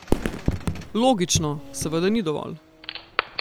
Logično, seveda ni dovolj.